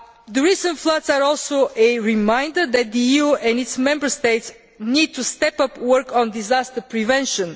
The recent floods are also a reminder that the EU and its Member States need to step up work on disaster prevention.